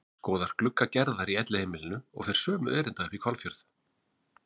Skoðar glugga Gerðar í Elliheimilinu og fer sömu erinda upp í Hvalfjörð.